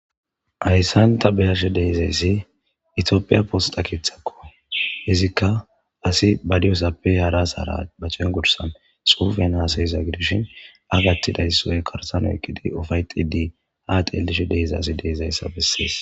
Haysan ta be'ashe dizaysi itopia posta kethako izika asi ba diyosappe hara asara ba c'engursan xufen hasa'za gidishin a gatidaysa woy garsan eqqidi ufayxidi ha xelishe de'zaysi de'izaysa beses.